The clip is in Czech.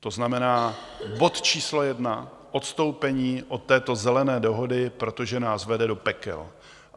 To znamená, bod číslo jedna, odstoupení od této Zelené dohody, protože nás vede do pekel.